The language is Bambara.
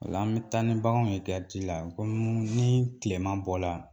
La an bɛ taa ni baganw yegariti la kɔmi ni tilema bɔla